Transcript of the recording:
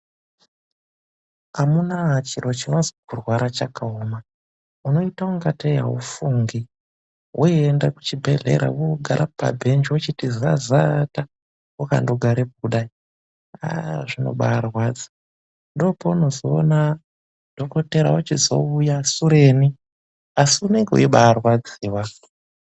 Amunaa chiro chinozi kurwara chakaoma, unoita kungateyi aufungi, woienda kuchibhehlera wogare pabhenji wochiti zazata, wakandogarepo kundai, aaah zvinobairwadza, ndopaunozoona dhokodheya wochizouya sureni, asi unenge weibaarwadziwa.